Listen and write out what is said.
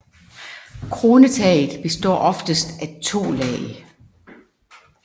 Kronetaget består oftest af to lag